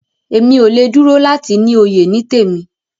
Emi o le dúró láti ní òye temí.